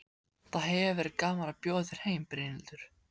Það hefði verið gaman að bjóða þér heim, Brynhildur.